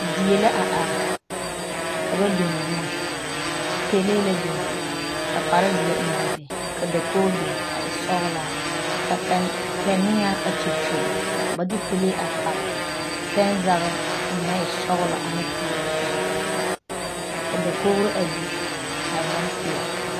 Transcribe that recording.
Die la a are ka ba biŋ boma pelee la biŋ ka kparzeɛ eŋ a be ka dakoɡi biŋ a e sɔɡelaa ka kaneɛa a kyakyuli ka ba de pelee a pare pɛnzaɡe o naŋ e sɔɡelɔ ane peɛle zu ka dakoɡro a biŋ a e bompeɛle.